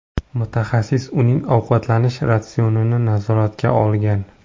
Mutaxassis uning ovqatlanish ratsionini nazoratga olgan.